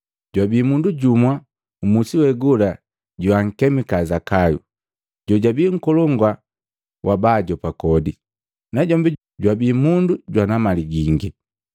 Jwabii mundu jumu mmusi we gola joankemika Zakayu, jojabii nkolongu wa baajopa kodi, najombi jwabi mundu jwana mali gingi.